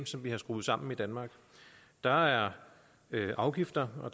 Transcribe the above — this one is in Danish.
vi har skruet sammen i danmark der er afgifter og